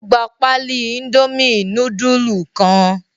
Ó gbà páálí Indomie núdúlù kan?